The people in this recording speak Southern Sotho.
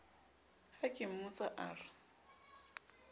ha ke mmotsa a re